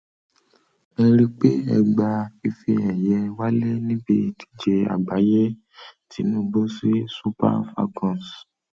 ẹ rí pé ẹ um gba ife ẹyẹ wálé níbi ìdíje àgbáyé tinubu sí super falcons um